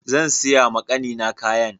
Zansiya ma kannina kayan.